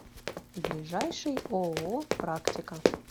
ближайший ооо практика